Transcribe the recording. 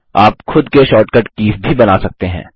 आप खुद के शॉर्ट कट कीज़ भी बना सकते हैं